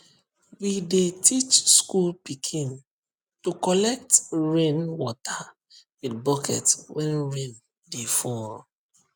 we dey teach school pikin to collect rain water with bucket when rain dey fall